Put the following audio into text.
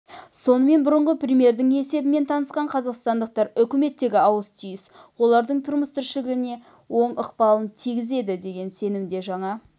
сонымен бұрынғы премьердің есебімен танысқан қазақстандықтар үкіметтегі ауыс-түйіс олардың тұрмыс-тіршілігіне оң ықпалын тигізеді деген сенімде жаңа